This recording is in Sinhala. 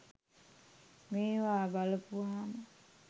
මේවා බලපුවාම.